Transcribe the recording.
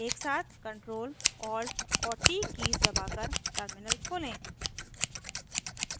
एकसाथ ctrl alt और t keys दबाकर टर्मिनल खोलें